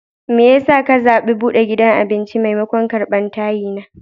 Me ya sa ka zaɓi buɗe gidan abinci maimakon karɓar tayina?